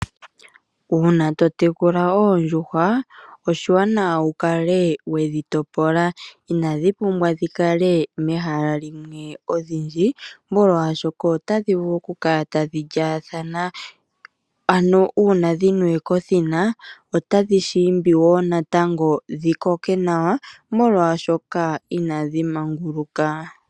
Uuna to tekula oondjuhwa oshiwanawa wukale we dhi topola inadhi pumbwa oku kala dhili mehala limwe odhindji molwaashoka otadhi vulu okukala tadhi lyaathana, uuna dhiniwe kothina otadhi shiimbi woo natango dhikoke nawa molwaashoka inadhi maguluka.